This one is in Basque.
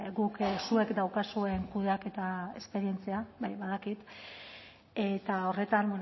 guk zuek daukazuen kudeaketa esperientzia bai badakit eta horretan